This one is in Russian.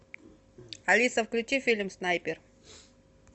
алиса включи фильм снайпер